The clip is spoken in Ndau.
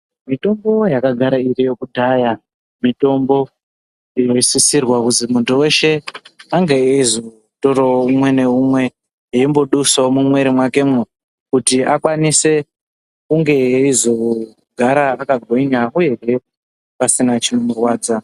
Mitombo yaka gara iriyo kudhaya mitombo ino sisirwa kuzi muntu weshe ange eyizo torawo umwe ne umwe eimbo dusawo mu mwiri mwake mo kuti akwanise kunge eyizo gara aka gwinya uyehe pasina chino rwadza.